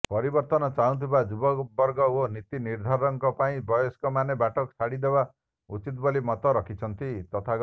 ପରିବର୍ତନ ଚାହୁଁଥିବା ଯୁବବର୍ଗ ଓ ନୀତି ନିର୍ଦ୍ଧାରକଙ୍କ ପାଇଁ ବୟସ୍କମାନେ ବାଟ ଛାଡିଦେବା ଉଚିତ୍ ବୋଲି ମତ ରଖିଛନ୍ତି ତଥାଗତ